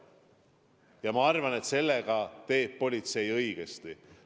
Ja ma arvan, et politsei teeb õigesti.